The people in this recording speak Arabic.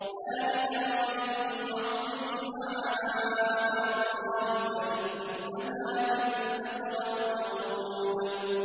ذَٰلِكَ وَمَن يُعَظِّمْ شَعَائِرَ اللَّهِ فَإِنَّهَا مِن تَقْوَى الْقُلُوبِ